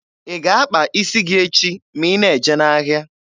Ị ga-akpa isi gị echi ma ị na-eje ahịa?